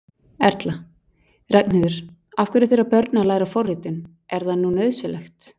Erla: Ragnheiður, af hverju þurfa börn að læra forritun, er það nú nauðsynlegt?